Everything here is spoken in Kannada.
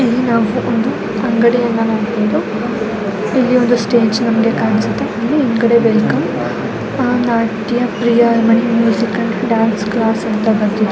ಇಲ್ಲಿ ಒಂದು ಸ್ಟೇಜ್ ಕಾಣಿಸುತ್ತೆ ಇಲ್ಲಿ ಡಾನ್ಸ್ ನಡೀತಾ ಇದೆ. Dance class --